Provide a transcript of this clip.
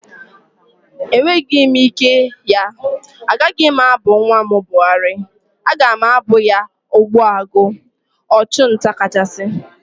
Enweghị m ike ya. Agaghị m abụ nwa m Buhari, aga m abụ ya Ogbuagu (Ọchụ nta kachasị)